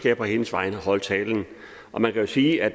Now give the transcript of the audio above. jeg på hendes vegne holde talen og man kan sige at